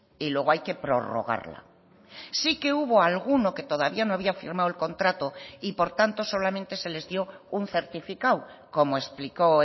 y luego hay que prorrogarla sí que hubo alguno que todavía no había firmado el contrato y por tanto solamente se les dio un certificado como explicó